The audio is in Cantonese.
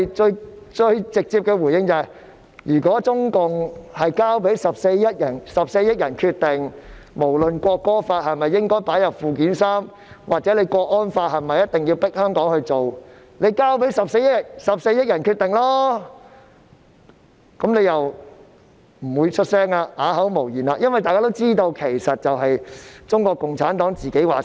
就此，我們最直接的回應是，如果中共真的會交給14億人決定，不論是《國歌法》應否加入附件三，或者是否一定要強迫香港人執行港區國安法，請交給14億人決定吧，但他們聽到後又會不作聲，只能啞口無言，因為大家都知道，事實就是中國共產黨說了算。